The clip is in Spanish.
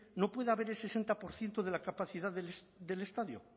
no pueda haber el sesenta por ciento de la capacidad del estadio oiga